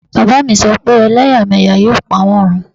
Bàbá mi so pe elẹ́yàmẹ́yà yóò pa wọn run